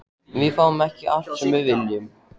Við fáum ekki allt sem við viljum.